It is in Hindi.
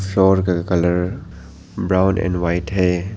शॉल का कलर ब्राउन एंड व्हाइट है।